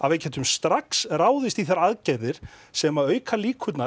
við gætum strax ráðist í þær aðgerðir sem auka líkur